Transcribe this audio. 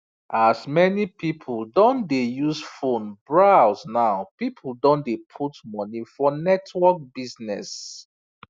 as many people don dey use phone browse now people don dey put money for network business